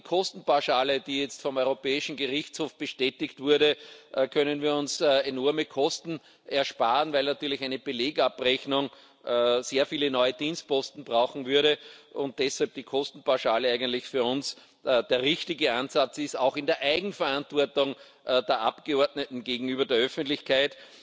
Auch durch die Kostenpauschale, die jetzt vom Europäischen Gerichtshof bestätigt wurde, können wir uns enorme Kosten ersparen, weil natürlich eine Belegabrechnung sehr viele neue Dienstposten brauchen würde und deshalb die Kostenpauschale eigentlich für uns der richtige Ansatz ist, auch in der Eigenverantwortung der Abgeordneten gegenüber der Öffentlichkeit.